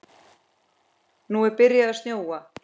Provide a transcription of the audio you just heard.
Nú er byrjað að snjóa.